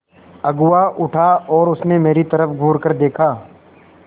अगुआ उठा और उसने मेरी तरफ़ घूरकर देखा